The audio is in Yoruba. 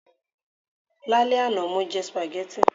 Lálẹ́ àná, mo jẹ spaghetti